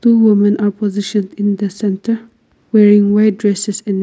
women opposition in the centre wearing wear dresses in--